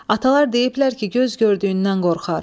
Atalar deyiblər ki, göz gördüyündən qorxar.